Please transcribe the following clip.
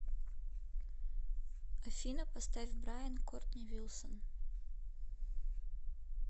афина поставь брайан кортни вилсон